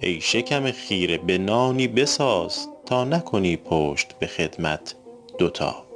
ای شکم خیره به تایی بساز تا نکنی پشت به خدمت دو تا